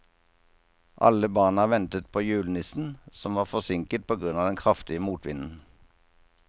Alle barna ventet på julenissen, som var forsinket på grunn av den kraftige motvinden.